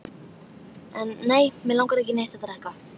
En nei, mig langar ekki í neitt að drekka.